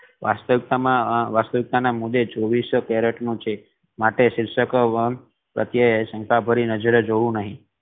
વાસ્તવિકતા મા વાસ્તવિકતા ના મૂળે ચોવીસો કેરેટ નુ છે માટે શિષ્ય પ્રતેય શંકા ભરી નજરે જોવું નહી